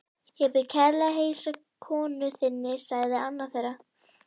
Ég bið kærlega að heilsa konu þinni sagði annar þeirra.